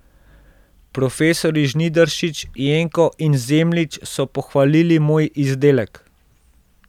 Profesorji Žnidaršič, Jenko in Zemljič so pohvalili moj izdelek.